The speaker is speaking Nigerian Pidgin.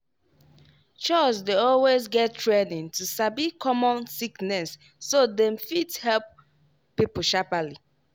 chws dey always get training to sabi common sickness so dem fit help people sharperly.